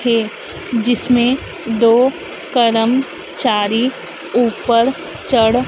थे जिसमें दो कर्मचारी ऊपर चढ़--